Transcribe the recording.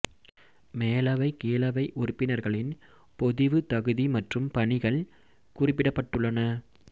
மேலவை கீழவை உறுப்பினர்களின் பொதிவு தகுதி மற்றும் பணிகள் குறிப்பிடப்பட்டுள்ளன